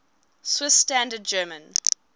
swiss standard german